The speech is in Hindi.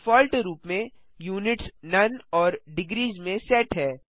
डिफॉल्ट रूप में यूनिट्स नोने और डिग्रीस में सेट है